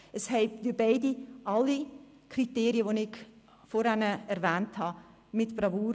Beide Kandidaten erfüllen alle Kriterien, die ich vorhin erwähnt habe, mit Bravour.